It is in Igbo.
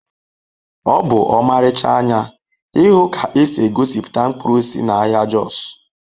Ọ bụ ọmarịcha anya ịhụ ka esi egosipụta mkpụrụ osisi n'ahịa Jos